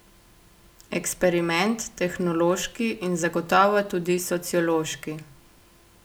Eksperiment, tehnološki in zagotovo tudi sociološki.